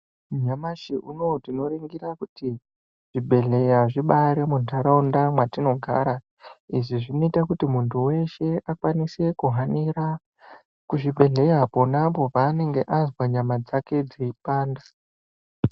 Nyamashi unou tinoringira kuti zvibhedhleya zvimbaari muntaraunda mwatinogara izvi zvinoite kuti muntu weshe akwanise kuhanira kuzvibhedhleya ponapo paanenge azwa nyama dzake dzeipanda.